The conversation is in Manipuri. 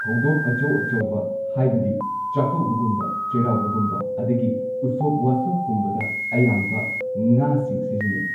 ꯊꯧꯗꯣꯛ ꯑꯆꯧ ꯑꯆꯧꯕ ꯍꯥꯏꯕꯗꯤ ꯆꯥꯀꯧꯕꯒꯨꯝꯕ ꯆꯩꯔꯥꯎꯕꯒꯨꯝꯕ ꯑꯗꯒꯤ ꯎꯁꯣꯞ ꯋꯥꯁꯣꯞꯀꯨꯝꯕꯗ ꯑꯌꯥꯝꯕ ꯉꯥꯁꯤꯡ ꯁꯤꯖꯤꯟꯅꯩ꯫